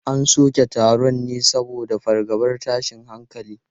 An soke taron ne saboda fargabar tashin hankali.